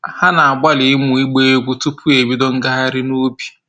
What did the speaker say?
Ha na-agbalị ịmụ ịgba egwu tupu ebido ngaghrị n'ubi